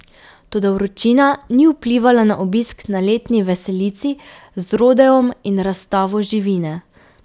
Toda vročina ni vplivala na obisk na letni veselici z rodeom in razstavo živine.